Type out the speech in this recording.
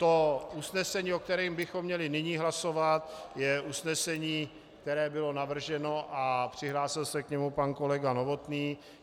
To usnesení, o kterém bychom měli nyní hlasovat, je usnesení, které bylo navrženo a přihlásil se k němu pan kolega Novotný.